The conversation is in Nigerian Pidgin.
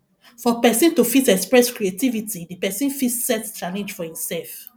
for perosn to fit express creativity di person fit set challenge for im self